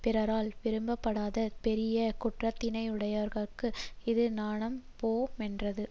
பிறரால் விரும்பப்படாத பெரிய குற்றத்தினையுடையார்க்கு இது நாணம் போமென்றது